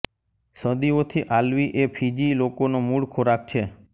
સદીઓથી આલ્વી એ ફીજી લોકોનો મૂળ ખોરાક છે